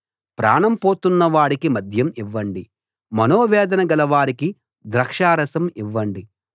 ప్రాణం పోతున్నవాడికి మద్యం ఇవ్వండి మనోవేదన గలవారికి ద్రాక్షారసం ఇవ్వండి